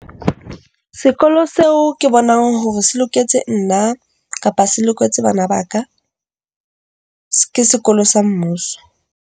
Sekolo seo ke bonang hore se loketse nna kapa se loketse bana ba ka ke sekolo sa mmuso.